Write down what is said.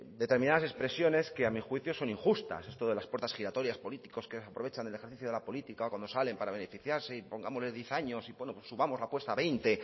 determinadas expresiones que a mi juicio son injustas esto de las puertas giratorias políticos que aprovechan el ejercicio de la política o cuando salen para beneficiarse y pongámosle diez años y bueno pues subamos la apuesta a veinte